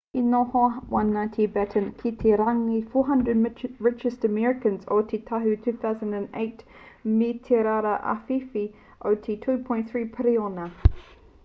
i noho 190 a batten ki te rārangi 400 richest americans o te tau 2008 me te rawa āwhiwhi o te $2.3 piriona